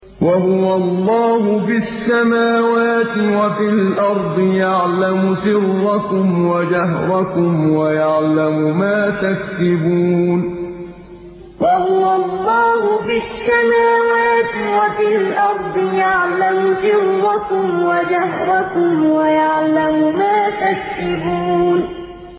وَهُوَ اللَّهُ فِي السَّمَاوَاتِ وَفِي الْأَرْضِ ۖ يَعْلَمُ سِرَّكُمْ وَجَهْرَكُمْ وَيَعْلَمُ مَا تَكْسِبُونَ وَهُوَ اللَّهُ فِي السَّمَاوَاتِ وَفِي الْأَرْضِ ۖ يَعْلَمُ سِرَّكُمْ وَجَهْرَكُمْ وَيَعْلَمُ مَا تَكْسِبُونَ